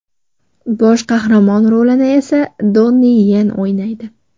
Bosh qahramon rolini esa Donni Yen o‘ynaydi.